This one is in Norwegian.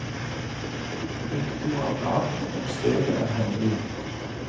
Hyttetur er planen, men stedet er hemmelig.